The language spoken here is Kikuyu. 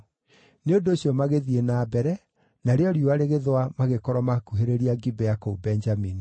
Nĩ ũndũ ũcio magĩthiĩ na mbere, narĩo riũa rĩgĩthũa magĩkorwo maakuhĩrĩria Gibea, kũu Benjamini.